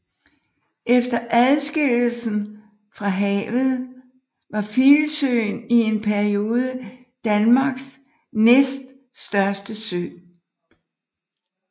Efter adskillelsen fra havet var Filsøen i en periode Danmarks næststørste sø